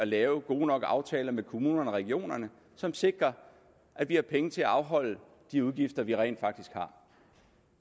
laver gode nok aftaler med kommunerne og regionerne som sikrer at vi har penge til at afholde de udgifter vi rent faktisk